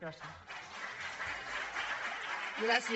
gràcies